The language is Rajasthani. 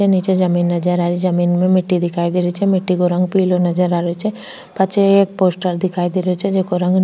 निचे जमीं नजर आ रही जमीं में मिट्टी दिखाई दे रही छे मिट्टी को रंग पिलो नजर आ रही छे पाछे एक पोस्टर दिखाई दे रो छे जेको रंग --